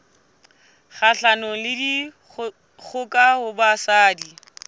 kgahlanong le dikgoka ho basadi